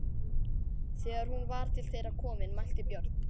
Þegar hún var til þeirra komin mælti Björn: